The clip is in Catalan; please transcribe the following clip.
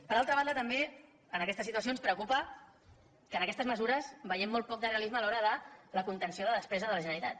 per altra banda també en aquesta situació ens preocupa que en aquestes mesures vegem molt poc de realisme a l’hora de la contenció de la despesa de la generalitat